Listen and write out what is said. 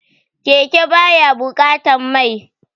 Keke ba ya buƙatan mai